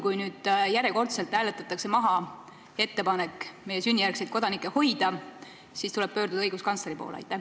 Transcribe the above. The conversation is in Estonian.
Kui nüüd järjekordselt hääletatakse maha meie ettepanek sünnijärgseid kodanikke hoida, kas sa näed siis võimalust pöörduda õiguskantsleri poole?